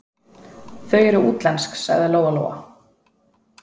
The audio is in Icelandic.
Þau eru útlensk, sagði Lóa-Lóa.